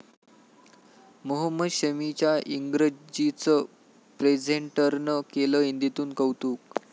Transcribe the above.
मोहम्मद शमीच्या इंग्रजीचं प्रेझेंटरनं केलं हिंदीतून कौतूक